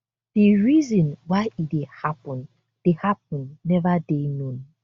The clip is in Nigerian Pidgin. di reason why e dey happun dey happun neva dey known